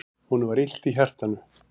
Honum var illt í hjartanu.